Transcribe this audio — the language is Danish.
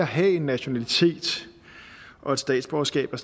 have en nationalitet og et statsborgerskab er